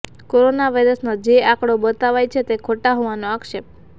corona વાયરસના જે આંકડો બતાવાય છે તે ખોટા હોવાનો આક્ષેપ